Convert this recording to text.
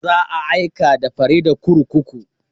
Za a aika da Farida kurkuku.